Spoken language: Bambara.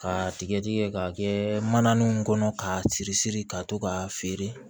Ka tigɛ tigɛ k'a kɛ manani kɔnɔ k'a siri siri ka to k'a feere